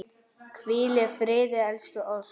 Hvíl í friði elsku Ósk.